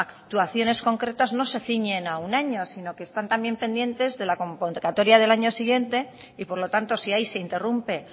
actuaciones concretas no se ciñen a un año sino que están también pendientes de la convocatoria del año siguiente y por lo tanto si ahí se interrumpe